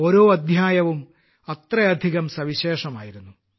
ഓരോ അദ്ധ്യായവും അത്രയധികം സവിശേഷമായിരുന്നു